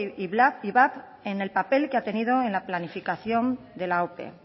ivap en el papel que ha tenido en la planificación de la ope